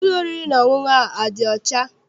Ụlọ oriri na ọṅụṅụ ahụ adị ọcha?